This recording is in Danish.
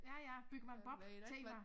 Ja ja byggemand Bob tema